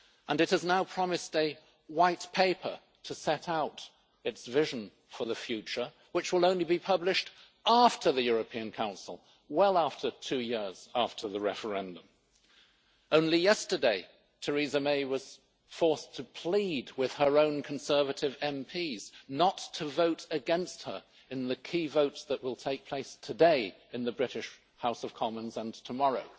It has now promised a white paper to set out its vision for the future, which will only be published after the European Council, well after two years after the referendum. Only yesterday, Theresa May was forced to plead with her own Conservative MPs not to vote against her in the key votes that will take place today in the British House of Commons and tomorrow.